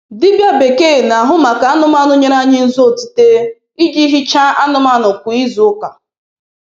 Dibịa bekee na-ahụ maka anụmanụ nyere anyị ntụ otite iji hichaa anụmanụ kwa izu ụka.